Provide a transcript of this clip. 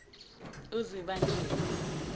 uzibandlela